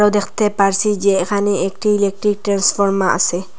দেখতে পাচ্ছি যে এখানে একটি ইলেকট্রিক ট্রান্সফর্মার আছে।